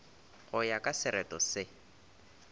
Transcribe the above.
go ya ka sereto se